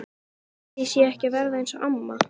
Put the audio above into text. Ég var farin að vatna músum upp úr þurru!